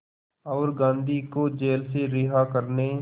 और गांधी को जेल से रिहा करने